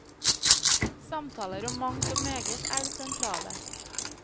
Samtaler om mangt og meget er det sentrale.